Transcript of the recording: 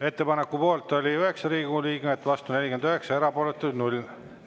Ettepaneku poolt oli 9 Riigikogu liiget, vastu 49, erapooletuid 0.